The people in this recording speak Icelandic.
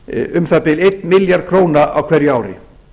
um það bil einn milljarð króna á hverju ári